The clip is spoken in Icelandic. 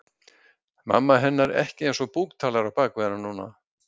Mamma hennar ekki eins og búktalari á bak við hana núna.